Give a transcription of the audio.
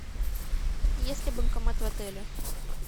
есть ли банкомат в отеле